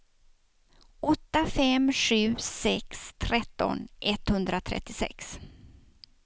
åtta fem sju sex tretton etthundrasextioett